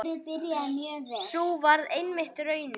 Sú varð einmitt raunin.